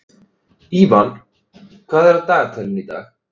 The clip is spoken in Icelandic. Ívan, hvað er á dagatalinu í dag?